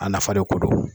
A nafa de ko don